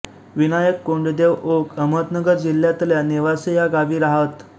विनायक कोंडदेव ओक अहमदनगर जिल्ह्यातल्या नेवासे या गावी राहत